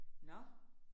Nåh